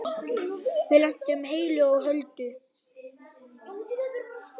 Við lentum heilu og höldnu.